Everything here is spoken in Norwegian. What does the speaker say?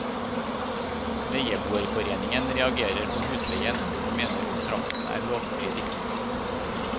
Leieboerforeningen reagerer på husleien, og mener kontrakten er lovstridig.